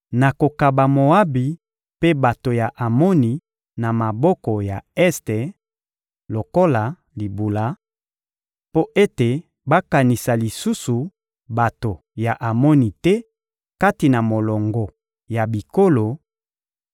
nakokaba Moabi mpe bato ya Amoni na maboko ya Este lokola libula, mpo ete bakanisa lisusu bato ya Amoni te kati na molongo ya bikolo;